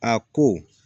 A ko